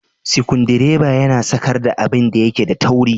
sikundireba yana sakar da abinda yake da tauri.